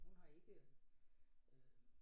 Hun har ikke øh